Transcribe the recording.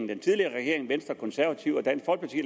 den tidligere regering venstre og konservative